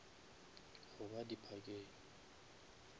goba di parkeng